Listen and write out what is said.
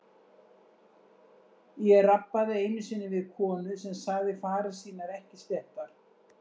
Ég rabbaði einu sinni við konu sem sagði farir sínar ekki sléttar.